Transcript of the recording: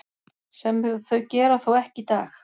Sem þau gera þó ekki í dag.